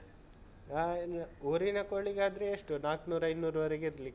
ಹಾ ಇಲ್ಲ. ಊರಿನ ಕೋಳಿಗಾದ್ರೆ ಎಷ್ಟು ನಾಕ್ನೂರು ಐನೂರ್ವರೆಗೆ ಇರ್ಲಿಕ್ಕಿಲ್ವಾ?